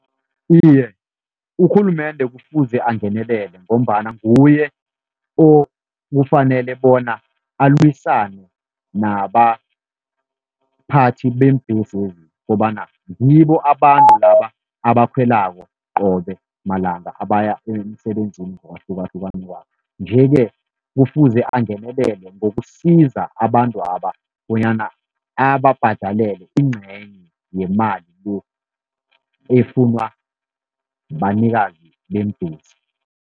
Iye, urhulumende kufuze angenelele ngombana nguye okufanele bona alwisane nabaphathi beembhesezi, kobana ngibo abantu laba abakhwelako qobe malanga abaya emsebenzini ngokwahlukahlukana kwabo. Nje-ke kufuze angenelele ngokusiza abantwaba, bonyana ababhadalele ingcenye yemali le efunwa banikazi beembhesi.